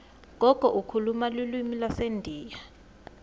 gogo ukhuluma lulwimi lwasendiya